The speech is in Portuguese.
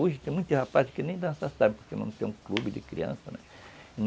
Hoje tem muitos rapazes que nem dançar sabem porque não tem um clube de crianças, né.